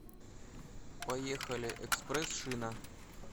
поехали экспресс шина